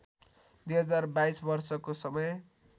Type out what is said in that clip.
२०२२ वर्षको समय